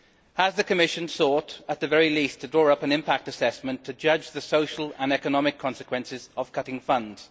Has the Commission thought, at the very least, to draw up an impact assessment to judge the social and economic consequences of cutting funds?